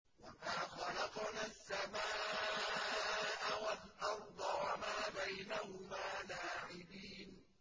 وَمَا خَلَقْنَا السَّمَاءَ وَالْأَرْضَ وَمَا بَيْنَهُمَا لَاعِبِينَ